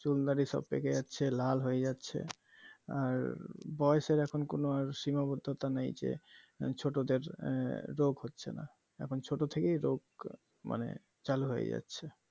চুর দাড়ি সব পেকে যাচ্ছে লাল হয়ে যাচ্ছে আর বয়েসের আর কোনো এখন সীমাবদ্ধতা নেই যে ছোটদের আহ রোগ হচ্ছেনা এখন ছোট থেকেই রোগ মানে চালু হয়ে যাচ্ছে